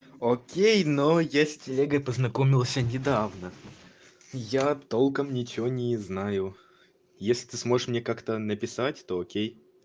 окей но я с телегой познакомился недавно я толком ничего не знаю если ты сможешь мне как-то написать то окей